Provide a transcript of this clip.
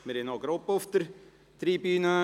Wir haben Gäste auf der Tribüne.